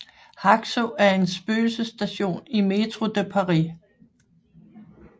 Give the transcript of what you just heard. Haxo er en spøgelsesstation i Métro de Paris